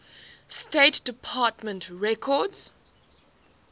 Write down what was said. state department records